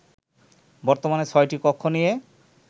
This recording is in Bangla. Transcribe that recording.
বর্তমানে ছয়টি কক্ষ নিয়ে